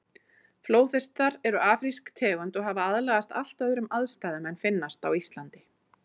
Flóðhestar eru afrísk tegund og hafa aðlagast allt öðrum aðstæðum en finnast á Íslandi.